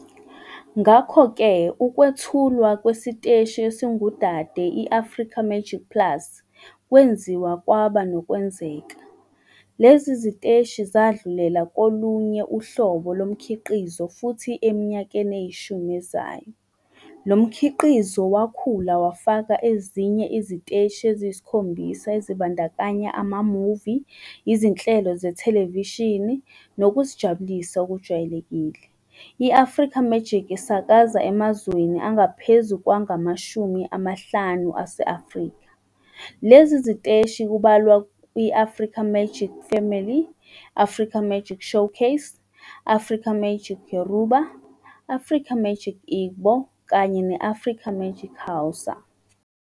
Ngakho-ke ukwethulwa kwesiteshi esingudade, i-Africa Magic Plus, kwenziwa kwaba nokwenzeka. Lezi ziteshi zadlulela kolunye uhlobo lomkhiqizo futhi eminyakeni eyishumi ezayo, lo mkhiqizo wakhula wafaka ezinye iziteshi eziyisikhombisa ezibandakanya ama-movie, izinhlelo zethelevishini nokuzijabulisa okujwayelekile. I-Africa Magic isakaza emazweni angaphezu kwama-50 ase-Afrika. Lezi ziteshi kubalwa i- "Africa Magic Family", "Africa Magic Showcase", "Africa Magic Yoruba", "Africa Magic Igbo" kanye ne-"Africa Magic Hausa".